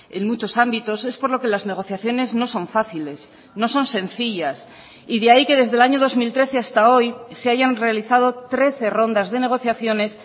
en muchos ámbitos es por lo que las negociaciones no son fáciles no son sencillas y de ahí que desde el año dos mil trece hasta hoy se hayan realizado trece rondas de negociaciones